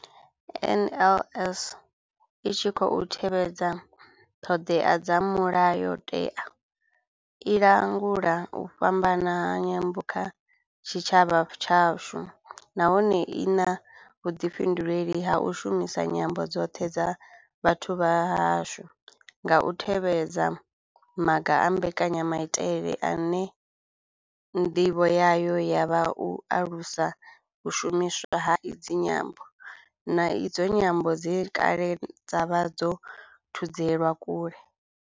NLS I tshi khou tevhedza ṱhodea dza Mulayo tewa, i langula u fhambana ha nyambo kha tshitshavha tshashu nahone I na vhuḓifhinduleli ha u shumisa nyambo dzoṱhe dza vhathu vha hashu nga u tevhedza maga a mbekanya maitele ine ndivho yayo ya vha u alusa u shumiswa ha idzi nyambo, na idzo nyambo dze kale dza vha dzo thudzelwa kule.